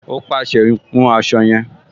Ó pàṣẹ, "hun aṣọ yẹn"